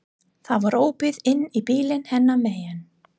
Það var opið inn í bílinn hennar megin.